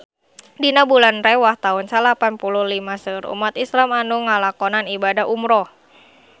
Dina bulan Rewah taun salapan puluh lima seueur umat islam nu ngalakonan ibadah umrah